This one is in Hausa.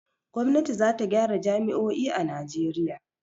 Gwamnati za ta gyara jami'o'i a Najeriya.